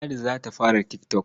Ladi za ta fara tik tok.